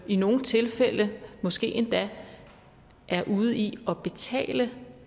i nogle tilfælde måske endda er ude i at betale